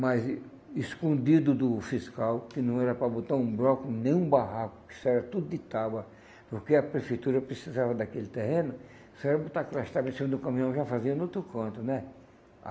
mas escondido do fiscal, que não era para botar um bloco em nenhum barraco, isso era tudo de tábua, porque a Prefeitura precisava daquele terreno, só era botar aquelas tábua em cima do caminhão e já fazia no outro canto né.